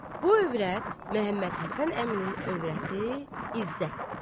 Bu övrət Məmmədhəsən əminin övrəti İzzətdir.